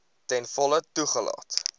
ten volle toegelaat